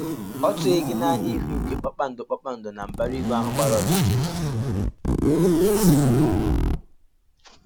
Ọ́ tụghị gị n’anya ịhụ ìgwè kpakpando kpakpando na mbara igwe ahụ gbara ọchịchịrị?